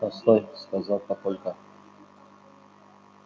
постой сказал папулька